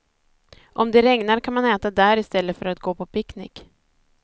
Om det regnar kan man äta där istället för att gå på picknick.